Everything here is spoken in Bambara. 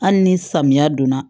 Hali ni samiya donna